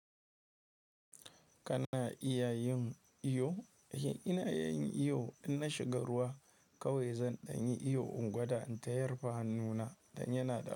Kana iya yin iyo? Ina iya yin iyo, idan na shiga ruwa kawai zan ɗan yi iyo, in gwada in ta yarfa hannuna, dan yana da.